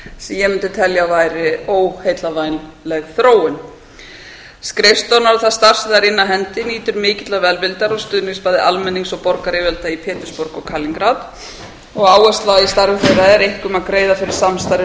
ég mundi telja að væri óheillavænlega þróun skrifstofurnar og það starf sem þær inna af hendi nýtur mikillar velvildar og stuðnings bæði almennings og borgaryfirvalda í pétursborg og kalingrad og áhersla í starfi þeirra er einkum að greiða fyrir samstarfi